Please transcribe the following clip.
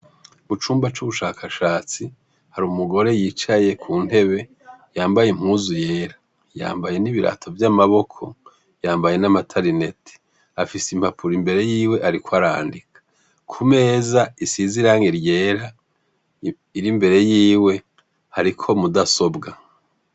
Mu cumba c'ubushakashatsi hari umugore yicaye ku ntebe yambaye impuzu yera yambaye n'ibirato vy'amaboko yambaye n'amatalineti afise impapuro imbere yiwe, ariko arandika ku meza isizirange ryera iri mbere yiwe hariko mudasobwa.